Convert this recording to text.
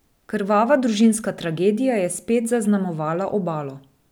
Krvava družinska tragedija je spet zaznamovala Obalo.